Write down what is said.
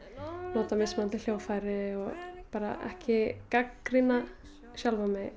nota mismunandi hljóðfæri bara ekki gagnrýna sjálfa mig